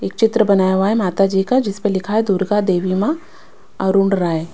एक चित्र बनाया हुआ है माता जी का जिस पे लिखा है दुर्गा देवी मां अरुण राय--